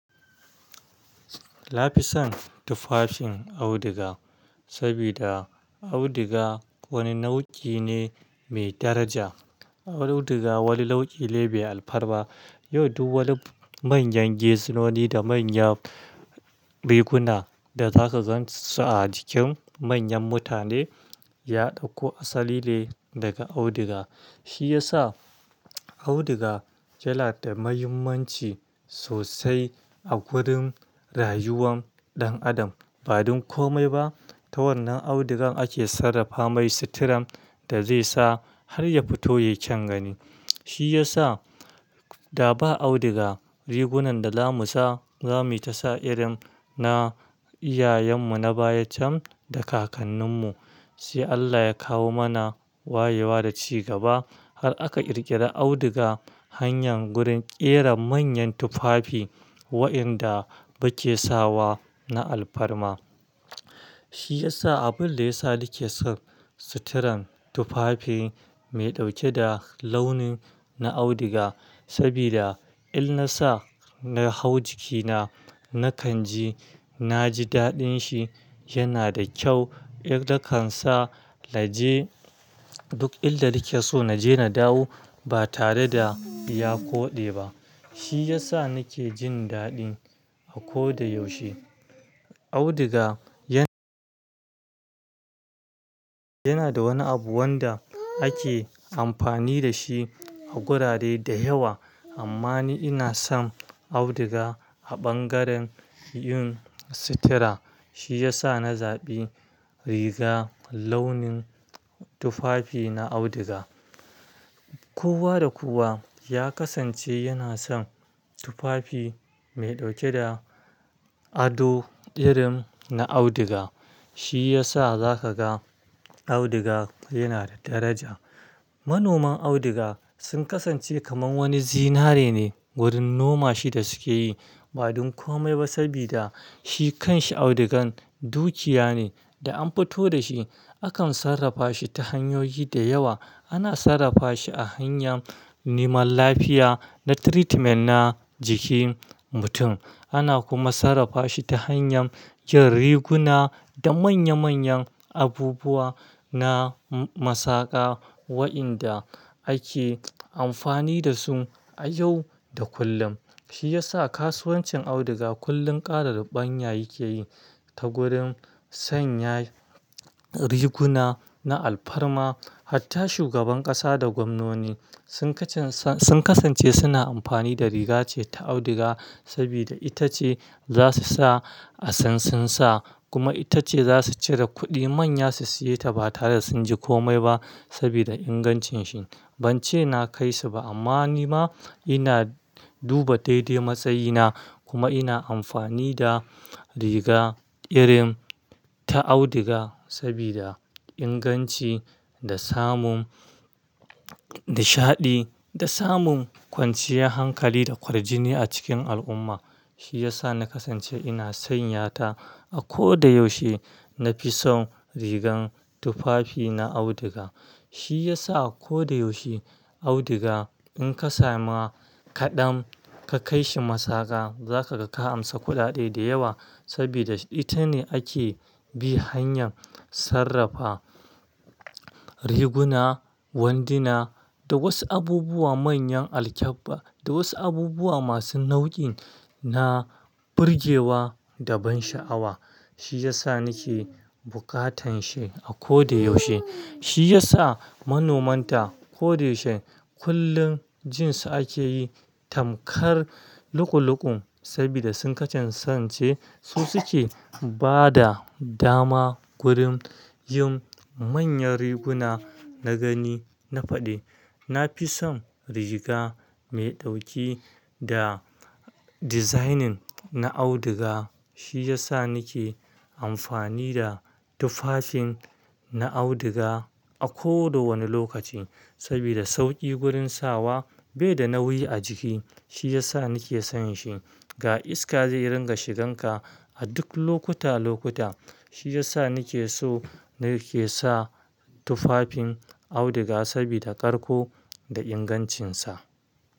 Na fi son tufafin auduga, saboda auduga wani nau'i ne mai daraja. Auduga wani nau'i lebe alfarba. Yau duk wani manyan gese nuni da manya riguna da zaka gan su sa a jikin manyan mutane ya ɗauko asali ne daga audiga. Shi ya sa audiga ya ladda muhimmanci sosai a gurin rayuwan ɗan adam. Ba don komai ba, ta wannan audugan ake sarrafa mai suturan da zai sa har ya fito ya kyan gani. Shi ya sa da ba audiga rigunan da zamu sa irin na iyayenmu na baya can da kakanninmu. Shi Allah ya kawo mana wayewa da ci gaba har aka ƙirƙira auduga hanyar wurin ƙera manyan tufafi wa'inda bakesawa na alfarma. Shi ya sa abun da ya sa nake son suturan tufafi mai ɗauke da launin na audiga. Saboda in na sa na hau jikina, na kanji na ji daɗin shi yana da kyau. In da kan sa laje duk illa nake so na je na dawo ba tare da ya koɗe ba. Shi ya sa nake jin daɗi a ko da yaushe. Audiga yana da wani abu wanda ake amfani da shi a gurare da yawa. Amma ni ina son audiga a ɓangaren yin sutura. Shi ya sa na zaɓi riga launin tufafi na audiga. Kowa da kowa ya kasance yana son tufafi mai ɗauke da ado irin na audiga. Shi ya sa za ka ga audiga yana da daraja. Manoman audiga sun kasance kamar wani zinare ne wurin noma shi da suke yi. Ba don komai ba, saboda shi kan shi audugan dukiya ne da an fito da shi. Akan sarrafa shi ta hanyoyi da yawa. Ana sarrafa shi a hanyar neman lafiya na treatment na jikin mutum. Ana kuma sarrafa shi ta hanyar yin riguna da manya manyan abubuwa na masaƙa wa'inda ake amfani da su a yau da kullum. Shi ya sa kasuwancin audiga kullum ƙara ban yayi ke yi ta wurin sanya riguna na alfarma. Hatta shugaban ƙasa da gwamnoni sun kasance suna amfani da riga ce ta audiga. Saboda ita ce za su sa a sansan sa kuma ita ce za su cire kuɗi manya su siye ta ba tare da sun ji komai ba saboda ingancin shi. Ban ce na kai su ba amma ni ma ina duba daidai matsayina kuma ina amfani da riga irin ta audiga saboda inganci da samun nishaɗi da samun kwanciyar hankali da kwargini a cikin al'umma. Shi ya sa na kasance ina sanya ta a ko da yaushe. Na fi son rigan tufafi na audiga. Shi ya sa a ko da yaushe audiga in ka samu kaɗan ka kai shi masaƙa za ka ga ka amsa kuɗaɗe da yawa. Saboda ita ne ake bi hanyar sarrafa riguna, wandina da wasu abubuwa manyan alkyabba da wasu abubuwa masu nau'i na birgewa da ban sha'awa. Shi ya sa nake bukatan shi a ko da yaushe. Shi ya sa manoman ta ko da yaushe kullum jin su ake yi tamkar luƙuluƙun saboda sun kasance su suke ba da dama wurin yin manyan riguna na gani na faɗi. Na fi son riga mai ɗauke da designing na audiga. Shi ya sa nake amfani da tufafin na audiga a ko da wani lokaci. Saboda sauƙi gurin sawa bai da nauyi a jiki. Shi ya sa nake son shi. Ga iska zai ringa shigan ka a duk lokuta lokuta. Shi ya sa nake so nake sa tufafin audiga saboda karko da ingancinsa.